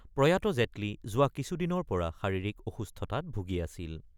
প্ৰয়াত জেটলী যোৱা কিছুদিনৰ পৰা শাৰিৰীক অসুস্থতাত ভুগি আছিল।